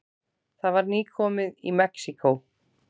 Það var nýkomið í Mexíkó.